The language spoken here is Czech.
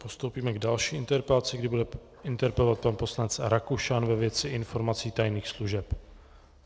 Postoupíme k další interpelaci, kdy bude interpelovat pan poslanec Rakušan ve věci informací tajných služeb.